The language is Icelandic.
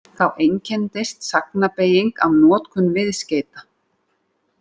Þá einkenndist sagnbeyging af notkun viðskeyta.